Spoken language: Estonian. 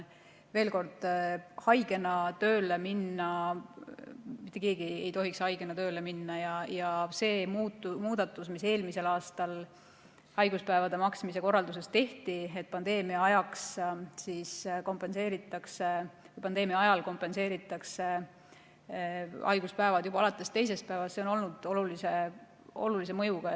Veel kord: mitte keegi ei tohi haigena tööle minna ja see muudatus, mis eelmisel aastal haiguspäevade maksmise korralduses tehti, et pandeemia ajal kompenseeritakse haiguspäevad juba alates teisest päevast, on olnud olulise mõjuga.